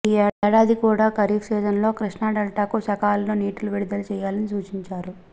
ఈ ఏడాది కూడా ఖరీఫ్ సీజన్లో కృష్ణాడెల్టాకు సకాలంలో నీటిని విడుదల చేయాలని సూచించారు